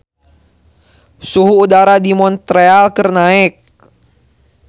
Suhu udara di Montreal keur naek